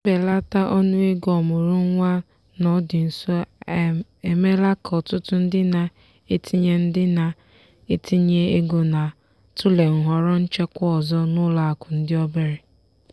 mbelata ọnụego ọmụrụ nwa n'ọdị nso a emeela ka ọtụtụ ndị na-etinye ndị na-etinye ego na-atụle nhọrọ nchekwa ọzọ n'ụlọakụ ndị obere.